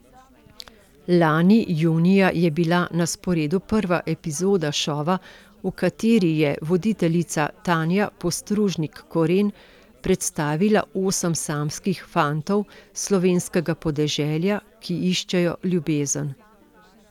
Lani junija je bila na sporedu prva epizoda šova, v kateri je voditeljica Tanja Postružnik Koren predstavila osem samskih fantov s slovenskega podeželja, ki iščejo ljubezen.